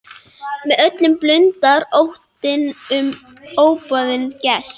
Með öllum blundar óttinn um óboðinn gest.